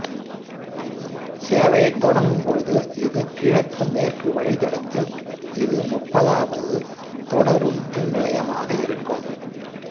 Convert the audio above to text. சேவையை தொடங்கும் பொழுது இது கிழக்கு மேற்கு வழித்தடத்தில் இது முப்பதாவது தொடருந்துநிலையமாக இருக்கும்